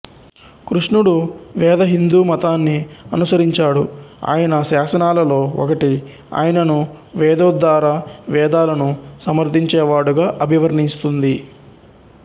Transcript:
కృష్ణుడు వేద హిందూ మతాన్ని అనుసరించాడు ఆయన శాసనాలలో ఒకటి ఆయనను వేదోద్దార వేదాలను సమర్థించేవాడు గా అభివర్ణిస్తుంది